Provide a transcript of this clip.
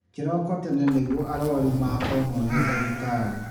Kĩroko tene nĩguo arwaru makonwo nĩ dagĩtarĩ